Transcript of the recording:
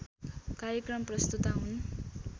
कार्यक्रम प्रस्तोता हुन्